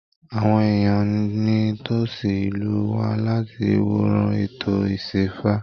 Àwọn èèyàn ní tosí ìlú wá láti wòran ètò isẹ́fá.